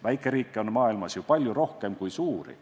Väikeriike on maailmas ju palju rohkem kui suuri.